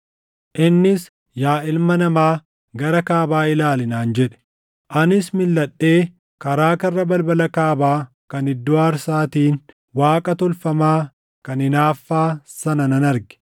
Innis, “Yaa ilma namaa, gara kaabaa ilaali” naan jedhe; anis milʼadhee karaa karra balbala kaabaa kan iddoo aarsaatiin waaqa tolfamaa kan hinaaffaa sana nan arge.